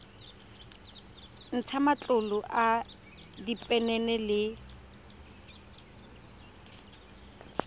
ntsha matlolo a diphenene le